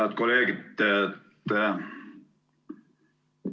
Head kolleegid!